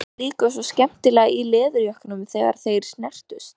Það brakaði líka svo skemmtilega í leðurjökkunum þegar þeir snertust.